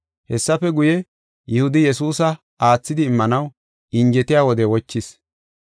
Hessafe guye, Yihudi Yesuusa aathidi immanaw injetiya wode wochees.